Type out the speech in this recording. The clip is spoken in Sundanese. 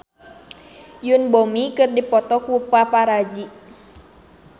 Yoon Bomi dipoto ku paparazi